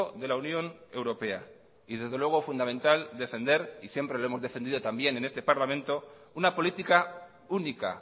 de la unión europea y desde luego fundamental defender y siempre lo hemos defendido también en este parlamento una política única